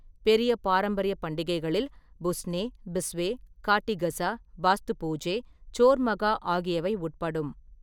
பெரிய பாரம்பரிய பண்டிகைகளில் புஸ்னே, பிஸ்வே, காட்டி கஸா, பாஸ்து பூஜே, சோர் மகா ஆகியவை உட்படும்.